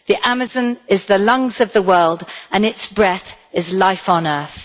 The Amazon is the lungs of the world, and its breath is life on earth.